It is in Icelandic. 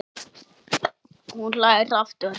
Hún hlær aftur.